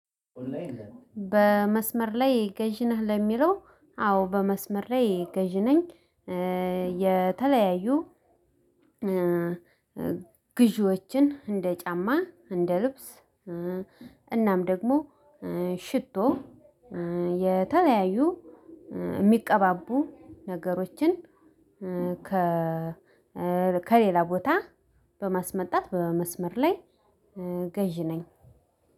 በመስመር ላይ ገዥ ነህ ለሚለው አዎ በመስመር ላይ ገዥ ነኝ። የተለያዩ ግዢዎችን እንደ ጫማ እንደ ልብስ እናም ደግሞ ሽቶ የተለያዩ የሚቀባቡ ነገሮችን። ከ ከሌላ ቦታ በማስመጣት በመስመር ላይ ገዢ ነኝ።